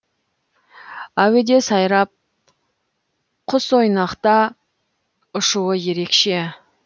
әуеде сайрап құсойнақта ұшуы ерекше